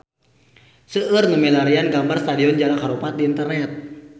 Seueur nu milarian gambar Stadion Jalak Harupat di internet